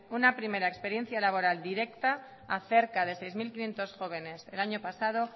una primera experiencia laboral directa a cerca de seis mil quinientos jóvenes el año pasado